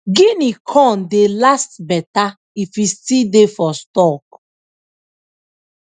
guinea corn dey last better if e still dey for stalk